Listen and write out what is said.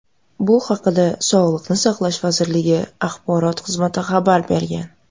Bu haqda Sog‘liqni saqlash vazirligi axborot xizmati xabar bergan .